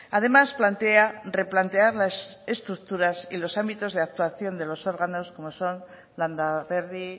además plantea replantear las estructuras y los ámbitos de actuación de los órganos como son landa berri